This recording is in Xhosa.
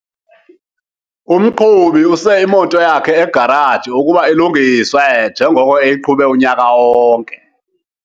Umqhubi use imoto yakhe egaraji ukuba ilungiswe njengoko eyiqhube unyaka wonke.